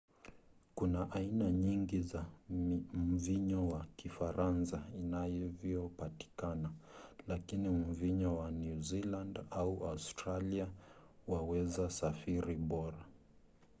kuna aina nyingi za mvinyo wa kifaransa inavyopatikana lakini mvinyo wa new zealand na australia waweza safiri bora